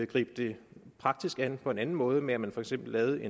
gribe det praktisk an på en anden måde ved at man for eksempel lavede